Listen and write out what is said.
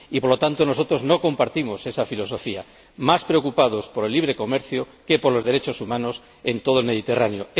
Y, por lo tanto, nosotros no compartimos esa filosofía más preocupados por el libre comercio que por los derechos humanos en todo el Mediterráneo.